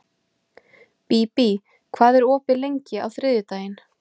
Bíbí, hvað er opið lengi á þriðjudaginn?